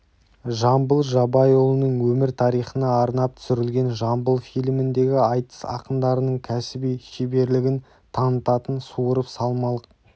жамбыл жабайұлының өмір тарихына арнап түсірілген жамбыл фильміндегі айтыс ақындарының кәсіби шеберлігін танытатын суырып салмалық